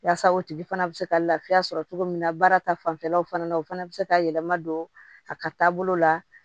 Yaasa o tigi fana bɛ se ka lafiya sɔrɔ cogo min na baara ta fanfɛlaw fana na o fana bɛ se ka yɛlɛma don a ka taabolo la